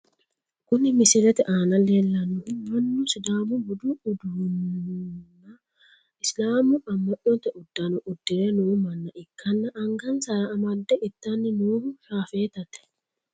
Kuni misilete aana leellannohu mannu sidaamu budu uddanonna islaamu amma'note uddanno uddire no manna ikkanna angansara amadde ittanni noohu shaafeetate.